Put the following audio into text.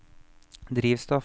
drivstoff